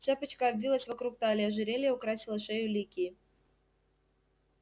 цепочка обвилась вокруг талии ожерелье украсило шею ликии